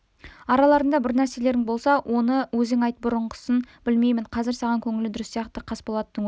араларыңда бір нәрселерің болса оны өзің айт бұрынғысын білмеймін қазір саған көңілі дұрыс сияқты қасболаттың өзі